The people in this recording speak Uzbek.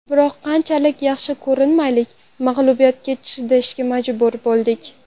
Biroq qanchalik yaxshi ko‘rinmaylik, mag‘lubiyatga chidashga majbur bo‘ldik.